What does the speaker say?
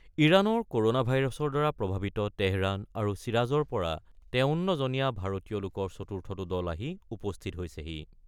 ইৰানৰ ক'ৰ'না ভাইৰাছৰ দ্বাৰা প্ৰভাৱিত তেহৰান আৰু শ্বিৰাজৰ পৰা ৫৩ জনীয়া ভাৰতীয় লোকৰ চতুৰ্থটো দল আহি উপস্থিত হৈছেহি।